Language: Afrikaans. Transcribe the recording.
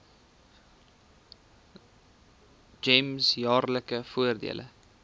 gems jaarlikse voordele